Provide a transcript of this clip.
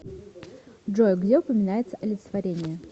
джой где упоминается олицетворение